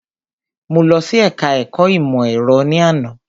Mo lọ sí ẹka ẹ̀kọ́ ìmọ̀ ẹ̀rọ ní àná.